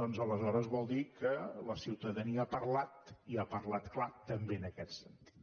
doncs aleshores vol dir que la ciutadania ha parlat i ha parlat clar també en aquest sentit